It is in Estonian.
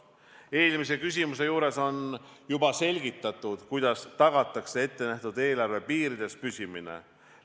" Eelmise küsimuse juures sai juba selgitatud, kuidas tagatakse ettenähtud eelarve piirides püsimine.